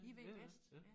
I ved jo bedst ja